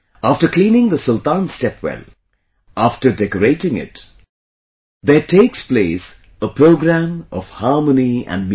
After cleaning the Sultan's stepwell, after decorating it, takes place a program of harmony and music